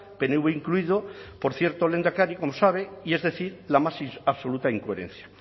pnv incluido por cierto lehendakari como sabe y es decir la más absoluta incoherencia